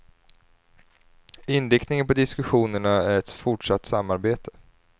Inriktningen på diskussionerna är ett fortsatt samarbete.